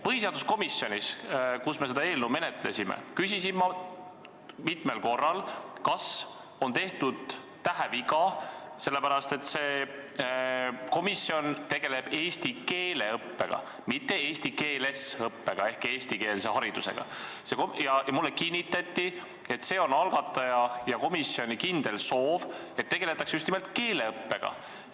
Põhiseaduskomisjonis, kus me seda eelnõu menetlesime, küsisin ma mitmel korral, kas on tehtud täheviga, sellepärast et see komisjon tegeleb eesti keele õppega, mitte eesti keeles õppega ehk eestikeelse haridusega, ja mulle kinnitati, et see on algataja ja komisjoni kindel soov, et tegeldakse just nimelt keeleõppega.